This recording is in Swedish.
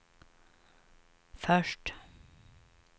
först